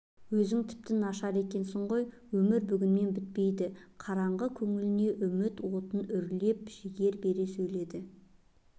өзің тіпті нашар екенсің ғой өмір бүгінмен бітпейді қараңғы көңіліне үміт отын үрлеп жігер бере сөйледі